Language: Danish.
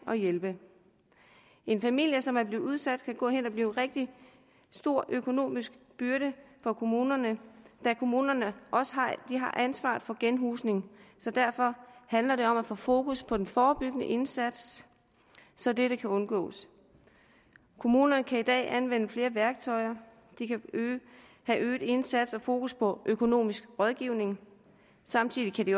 og hjælpe en familie som er blevet udsat kan gå hen og blive en rigtig stor økonomisk byrde for kommunerne da kommunerne har ansvaret for genhusning så derfor handler det om at få fokus på den forebyggende indsats så det kan undgås kommunerne kan i dag anvende flere værktøjer de kan have øget indsats og fokus på økonomisk rådgivning samtidig kan de